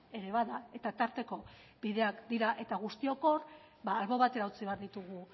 ere bada eta tarteko bideak dira eta guztiok hor albo batera utzi behar ditugu